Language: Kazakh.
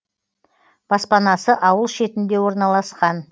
баспанасы ауыл шетінде орналасқан